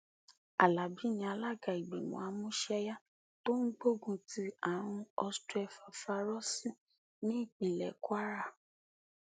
alábi ni alága ìgbìmọ àmúṣẹyá tó ń gbógun ti àrùn ostrefafairọọsì nípínlẹ kwara